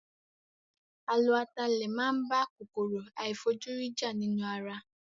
A lo atalẹ̀ máa ń bá kòkòrò àìfojúrí jà nínú ara